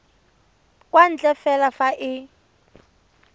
kwa ntle fela fa e